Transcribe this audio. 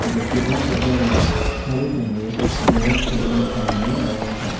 j kwbangma borokrokno hablwi tonglaio xerox khaijaknai thai hinwi mano obo ungkha.